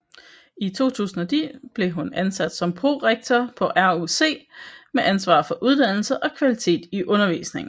I 2010 blev hun ansat som prorektor på RUC med ansvar for uddannelse og kvalitet i undervisningen